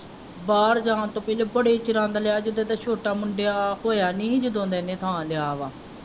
ਬਾਹਰ ਜਾਣ ਤੋਂ ਪਹਿਲਾਂ ਬੜੇ ਚਿਰਾਂ ਦਾ ਲਿਆ ਜਦੋਂ ਇਹਦਾ ਛੋਟਾ ਮੁੰਡਾ ਹੋਇਆ ਨਹੀਂ ਸੀ ਜਦੋਂ ਦਾ ਇਹਨੇ ਥਾਂ ਲਿਆ ਵਾ।